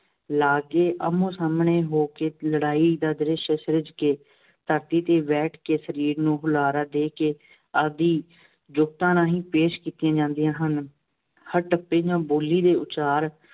ਲਾ ਕੇ, ਆਹਮਣੇ-ਸਾਹਮਣੇ ਹੋ ਕੇ ਲੜਾਈ ਦਾ ਦ੍ਰਿਸ਼ ਸਿਰਜ਼ ਕੇ, ਧਰਤੀ ਤੇ ਬੈਠ ਕੇ ਸਰੀਰ ਨੂੰ ਹੁਲਾਰਾ ਦੇ ਕੇ, ਆਦਿ ਜੁਗਤਾਂ ਰਾਂਹੀਂ ਪੇਸ਼ ਕੀਤੀਆਂ ਜਾਂਦੀਆਂ ਹਨ। ਹਰ ਟੱਪੇ ਜਾਂ ਬੋਲੀ ਦੇ ਉਚਾਰ